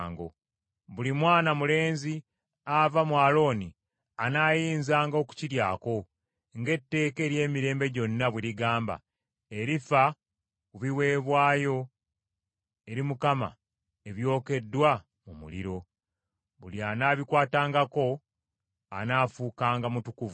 Buli mwana mulenzi ava mu Alooni anaayinzanga okukiryako, ng’etteeka ery’emirembe gyonna bwe ligamba erifa ku biweebwayo eri Mukama ebyokeddwa mu muliro. Buli anaabikwatangako anaafuukanga mutukuvu.”